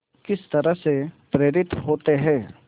किस तरह से प्रेरित होते हैं